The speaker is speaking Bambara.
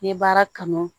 N'i ye baara kanu